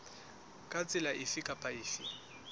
ka tsela efe kapa efe